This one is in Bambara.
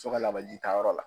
ka lawajita yɔrɔ la.